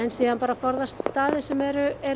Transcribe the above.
síðan bara að forðast staði sem eru eru